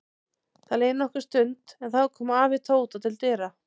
Það leið nokkur stund en þá kom afi Tóta til dyra.